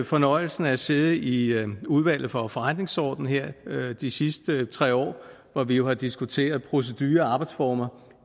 fornøjelsen af at sidde i udvalget for forretningsordenen her de sidste tre år hvor vi jo har diskuteret procedurer og arbejdsformer